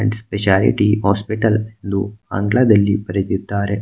And specialty hospital ಲೋ ಆಂಗ್ಲದಲ್ಲಿ ಬರೆದಿದ್ದಾರೆ.